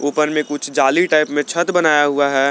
ऊपर में कुछ जाली टाइप में छत बनाया हुआ है।